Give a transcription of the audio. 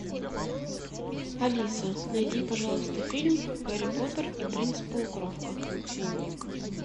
алиса найди пожалуйста фильм гарри поттер и принц полукровка